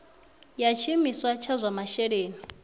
ya tshiimiswa tsha zwa masheleni